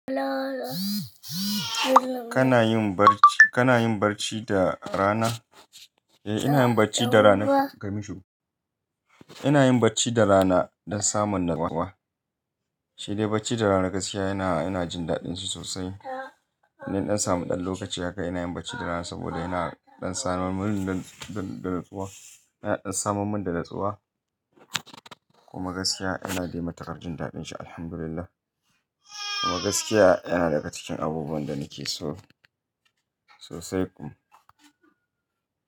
Kana yin barci, kana yin barci da rana? Eh, ina yin barci da rana. Kai mun shuru. Ina yin barci da rana dan samun natsuwa. Shi dai barci da rana gaskiya yana, ina jin daɗin shi sosai. Idan na ɗan samu ɗan lokaci haka ina yin barci da rana sabida yana ɗan samun min da, da, da natsuwa. Yana ɗan saman min da natsuwa kuma gaskiya ina dai matuƙar jin daɗin shi Alhamdulillah. Kuma gaskiya yana daga cikin abubuwan da nake so sosai kuma.